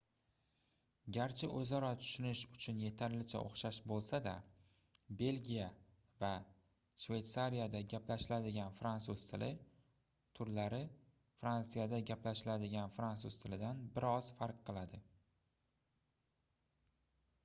garchi oʻzaro tushunish uchun yetarlicha oʻxshash boʻlsa-da belgiya va shveytsariyada gaplashiladigan fransuz tili turlari fransiyada gaplashiladigan fransuz tilidan bir oz farq qiladi